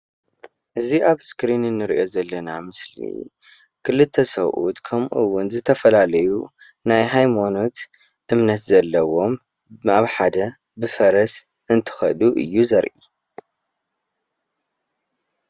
እዚ ኣብ እስክሪን እንሪኦ ዘለና ምስሊ ክልተ ሰቡኡት ከምኡውን ዝተፈላለዩ ናይ ሃይማኖት እምነት ዘለዎም ኣብ ሓደ ብፈረስ እንትኸዱ እዩ ዘርኢ።